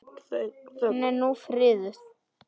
Hún er nú friðuð.